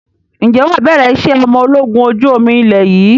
Ǹjẹ́ wà bẹ̀rẹ̀ ìṣe ọmọ ológun ojú omi ilé yìí?